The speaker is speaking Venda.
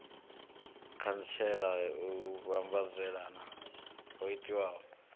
khantsela u vhambadzelana ho itiwaho